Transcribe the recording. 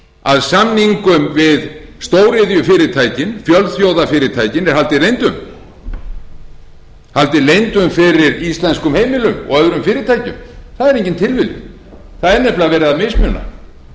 að samningum við stóriðjufyrirtækin fjölþjóðafyrirtækin er haldið leyndum haldið leyndum fyrir íslenskum heimilum og öðrum fyrirtækjum það er engin tilviljun það er nefnilega verið að mismuna og þeim er líka haldið